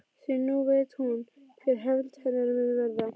Því nú veit hún hver hefnd hennar mun verða.